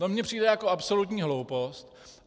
To mně přijde jako absolutní hloupost.